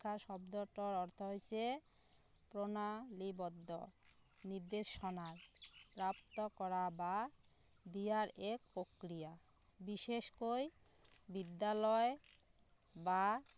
শিক্ষাৰ শব্দটোৰ অৰ্থ হৈছে প্ৰণালীবদ্ধ নিৰ্দেশনাৰ প্ৰাপ্ত কৰা বা দিয়াৰ এক প্ৰক্ৰিয়া বিশেষকৈ বিদ্যালয় বা